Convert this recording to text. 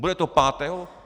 Bude to pátého?